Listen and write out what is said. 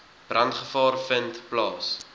brandgevaar vind plaas